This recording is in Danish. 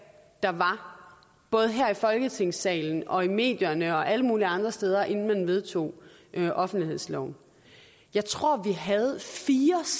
der var både her i folketingssalen og i medierne og alle mulige andre steder inden man vedtog offentlighedsloven jeg tror vi mindst havde fire